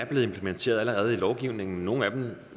blevet implementeret i lovgivningen nogle af dem